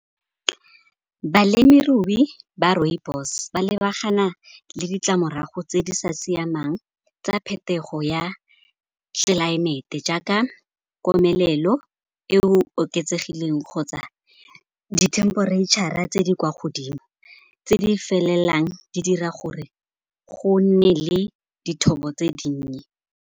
Balemirui ba rooibos ba lebagana le ditlamorago tse di sa siamang tsa phetogo ya tlelaemete jaaka komelelo e oketsegileng kgotsa dithemperetšhara tse di kwa godimo, tse di felelang di dira gore go nne le dithobo tse dinnye.